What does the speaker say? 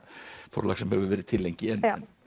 forlag sem hefur verið til lengi en